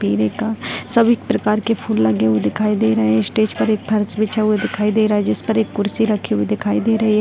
पेरे का सभी प्रकार के फूल लगे हुए दिखाई दे रहे है स्टेज पर एक फर्श बिछा हुआ दिखाई दे रहा है जिसपर एक कुर्शी राखी हुई दिखाई दे रही है।